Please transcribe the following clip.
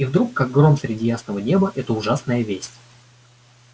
и вдруг как гром среди ясного неба эта ужасная весть